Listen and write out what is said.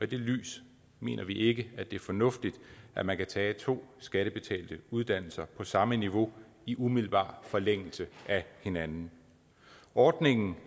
det lys mener vi ikke at det er fornuftigt at man kan tage to skattebetalte uddannelser på samme niveau i umiddelbar forlængelse af hinanden ordningen